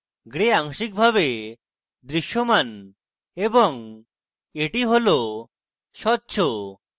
gray আংশিকরূপে দৃশ্যমান এবং এটি স্বচ্ছ